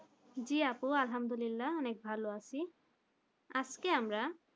জি আপু আহাম্দুলিল্লা আপু অনেক ভালো আছি আজকে আমরা